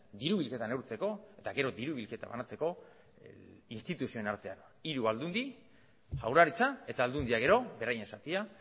diru bilketa neurtzeko eta gero diru bilketa banatzeko instituzioen artean hiru aldundi jaurlaritza eta aldundia gero beraien zatia